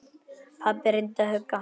Pabbi reyndi að hugga hana.